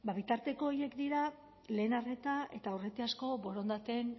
ba bitarteko horiek dira lehen arreta eta aurretiazko borondateen